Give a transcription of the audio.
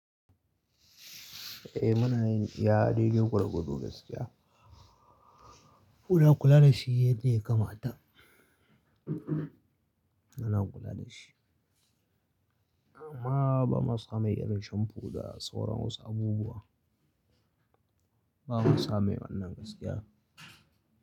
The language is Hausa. Eh muna yin iya na dide gwargwado gaskiya. Kuna kula da shi yadda ya kamata? Muna kula da shi. Amma ba mu samu irin shamfu da sauran wasu abubuwa. Ba mu samu ba nan gaskiya.